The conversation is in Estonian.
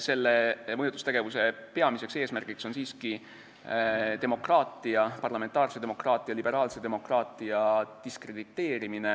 Selle mõjutustegevuse peamine eesmärk on siiski demokraatia, parlamentaarse demokraatia, liberaalse demokraatia diskrediteerimine